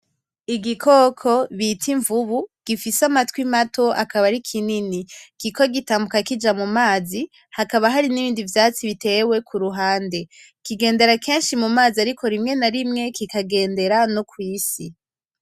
Igikoko bita imvubu gifise amatwi mato akabarikinini kiriko gitambuka kija mumazi hakaba harinibindi vyatsi bitewe kuruhande, kigendera kenshi mumazi ariko rimwe na rimwe kikagendera no kwisi.